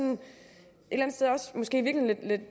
og måske erkendte